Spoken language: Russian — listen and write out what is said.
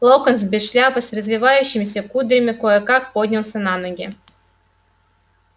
локонс без шляпы с развивающимися кудрями кое-как поднялся на ноги